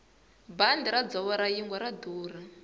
bandi ra dzovo ra yingwe ra durha